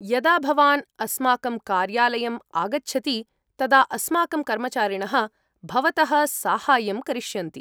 यदा भवान् अस्माकं कार्यालयम् आगच्छति तदा अस्माकं कर्मचारिणः भवतः साहाय्यं करिष्यन्ति।